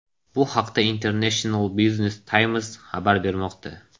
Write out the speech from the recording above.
Bu haqda International Business Times xabar bermoqda .